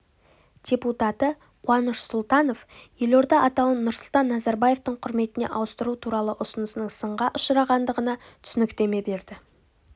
депатутаты қуаныш сұлтанов елорда атауын нұрсұлтан назарбаевтың құрметіне ауыстыру туралы ұсынысының сынға ұшырағандығына түсініктеме берді